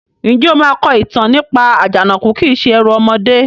Ǹjẹ́ o máa kọ ìtàn nípa "Àjànàkú kìí se ẹrù ọmọdé"?